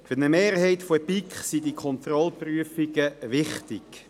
Für eine Mehrheit der BiK sind die Kontrollprüfungen wichtig.